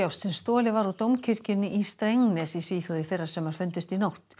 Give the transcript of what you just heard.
sem stolið var úr Dómkirkjunni í Strängnäs í Svíþjóð í fyrrasumar fundust í nótt